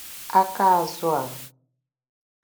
’aka azụ̀ a?